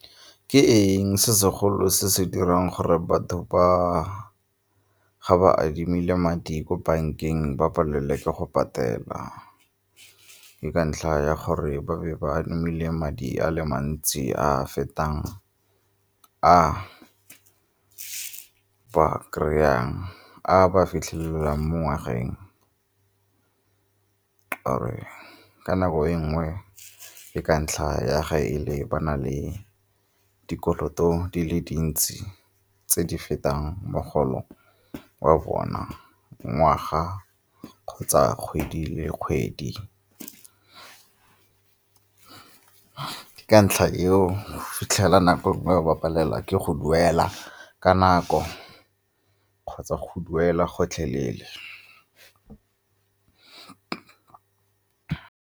Ke eng se segolo se se dirang gore batho ga ba adimile madi ko bankeng ba palelwe ke go patela? Ke ka ntlha ya gore ba be ba adimile madi a le mantsi a a fetang a ba kry-ang a ba a fitlhelelang mo ngwageng ka'ore ka nako e nngwe e ka ntlha ya ga e le ba na le dikoloto di le dintsi tse di fetang mogolo wa bona ngwaga kgotsa kgwedi le kgwedi. Ke ka ntlha eo o fitlhela nako nngwe ba palelwa ke go duela ka nako kgotsa go duelwa gotlhelele.